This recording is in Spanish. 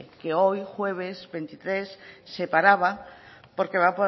que hoy jueves veintitrés se paraba porque va